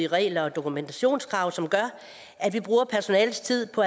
regler og dokumentationskrav som gør at vi bruger personalets tid på